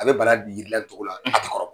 A bɛ bala la ni cogo la, a kɔrɔ .